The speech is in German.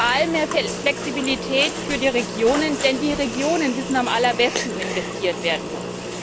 Wir haben vor allem mehr Flexibilität für die Regionen, denn die Regionen wissen am allerbesten, wo investiert werden muss.